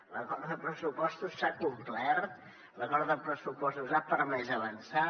l’acord de pressupostos s’ha complert l’acord de pressupostos ha permès avançar